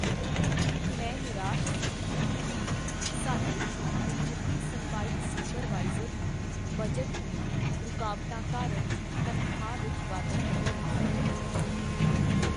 ਮੈਂ ਨਿਰਾਸ਼ ਸੀ ਕੀ ਸਾਡੇ ਮਿਹਨਤੀ ਸਫ਼ਾਈ ਸੁਪਰਵਾਈਜ਼ਰ ਨੂੰ ਬਜਟ ਦੀਆਂ ਰੁਕਾਵਟਾਂ ਕਾਰਨ ਤਨਖਾਹ ਵਿੱਚ ਵਾਧਾ ਨਹੀਂ ਮਿਲ ਸਕਦਾ।